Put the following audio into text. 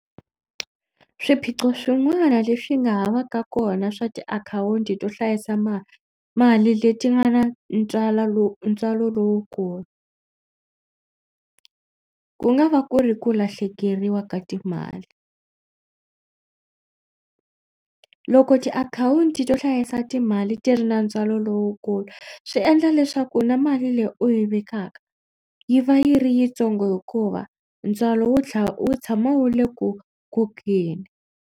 Swiphiqo swin'wana leswi nga ha va ka kona swa tiakhawunti to hlayisa mali leti nga na lowu ntswalo lowukulu ku nga va ku ri ku lahlekeriwa ka timali. Loko tiakhawunti to hlayisa timali ti ri na ntswalo lowukulu swi endla leswaku na mali leyi u yi vekaka yi va yi ri yitsongo hikuva ntswalo wu wu tshama wu le ku kokeni.